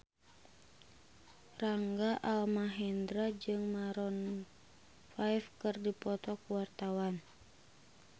Rangga Almahendra jeung Maroon 5 keur dipoto ku wartawan